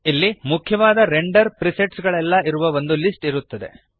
ಇಲ್ಲಿ ಮುಖ್ಯವಾದ render presets ಗಳೆಲ್ಲ ಇರುವ ಒಂದು ಲಿಸ್ಟ್ ಇರುತ್ತದೆ